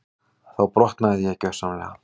Þá brotnaði ég gjörsamlega.